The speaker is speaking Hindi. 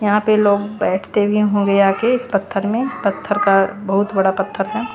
यहां पे लोग बैठते भी होंगे आके इस पत्थर में पत्थर का बहुत बड़ा पत्थर है।